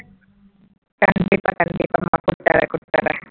கண்டிப்பா கண்டிப்பாம்மா கூட்டிட்டு வரேன் கூட்டிட்டு வரேன்